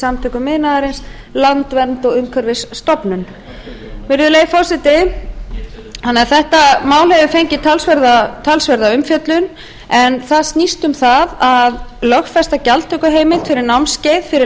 samtökum iðnaðarins landvernd og umhverfisstofnun virðulegi forseti þetta mál hefur fengið talsverða umfjöllun en það snýst um það að lögfesta gjaldtökuheimild fyrir námskeið fyrir